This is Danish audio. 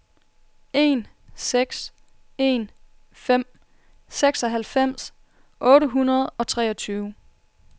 en seks en fem seksoghalvfems otte hundrede og treogtyve